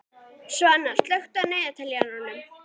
Svana, slökktu á niðurteljaranum.